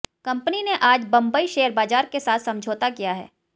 company ने आज Bambai share बाजार के साथ समझौता किया है